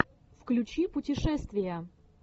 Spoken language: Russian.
включи путешествия